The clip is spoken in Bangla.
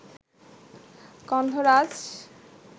গন্ধরাজ